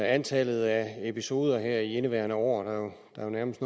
antallet af episoder her i indeværende år der jo nærmest